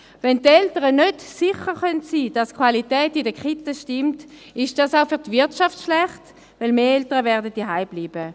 Wenn die Eltern nicht sicher sein können, dass die Qualität in den Kindertagesstätten (Kitas) stimmt, ist dies auch für die Wirtschaft schlecht, weil mehr Eltern zu Hause bleiben werden.